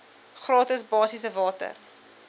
gratis basiese water